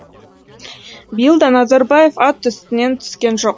биыл да назарбаев ат үстінен түскен жоқ